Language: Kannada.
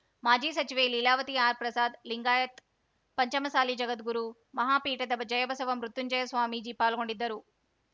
ಮಾಜಿ ಸಚಿವೆ ಲೀಲಾದೇವಿ ಆರ್‌ ಪ್ರಸಾದ್‌ ಲಿಂಗಾಯತ್ ಪಂಚಮಸಾಲಿ ಜಗದ್ಗುರು ಮಹಾಪೀಠದ ಜಯಬಸವ ಮೃತ್ಯುಂಜಯ ಸ್ವಾಮೀಜಿ ಪಾಲ್ಗೊಂಡಿದ್ದರು